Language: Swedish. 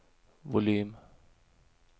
volym